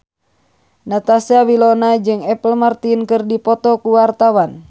Natasha Wilona jeung Apple Martin keur dipoto ku wartawan